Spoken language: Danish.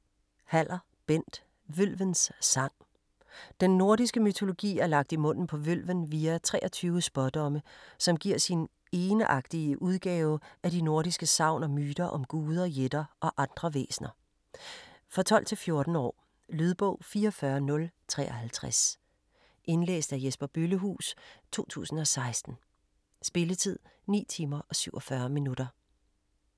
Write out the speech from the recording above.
Haller, Bent: Vølvens sang Den nordiske mytologi er lagt i munden på Vølven via 23 spådomme, som giver sin egenartige udgave af de nordiske sagn og myter om guder, jætter og andre væsner. For 12-14 år. Lydbog 44053 Indlæst af Jesper Bøllehuus, 2016. Spilletid: 9 timer, 47 minutter.